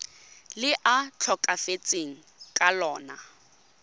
le a tlhokafetseng ka lona